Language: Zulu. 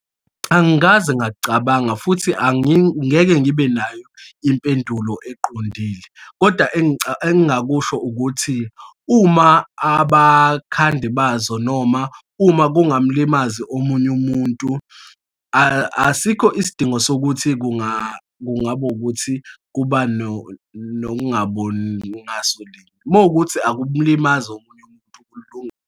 Angikaze ngakucabanga futhi angeke ngibenayo impendulo eqondile, kodwa engingakusho ukuthi uma abakhandi bazo, noma uma kungamlimazi omunye umuntu, asikho isidingo sokuthi kungaba wukuthi kuba nokungaboni ngaso linye. Uma kuwukuthi akulimazi omunye umuntu, kulungile.